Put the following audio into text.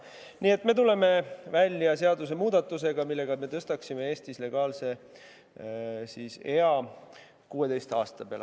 Nii et me tuleme välja seadusemuudatusega, millega me tõstaksime Eestis legaalse ea 16 aasta peale.